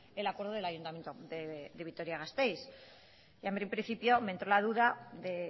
el acuerdo del ayuntamiento de vitoria gasteiz y a mí en principio me entró la duda de